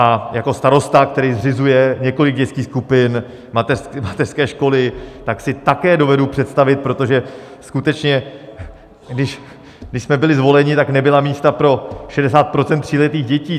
A jako starosta, který zřizuje několik dětských skupin, mateřské školy, tak si také dovedu představit, protože skutečně když jsme byli zvoleni, tak nebyla místa pro 60 % tříletých dětí.